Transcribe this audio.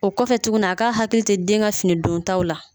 O kɔfɛ tuguni a k'a hakili to den ka finidontaw la